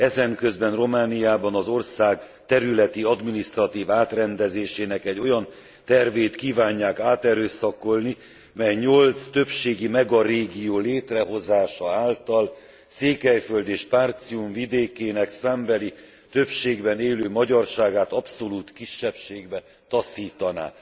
Ezenközben Romániában az ország területi, adminisztratív átrendezésének egy olyan tervét kívánják áterőszakolni, mely nyolc többségi megarégió létrehozása által Székelyföld és Partium vidékének többségben élő magyarságát abszolút kisebbségbe taszítaná.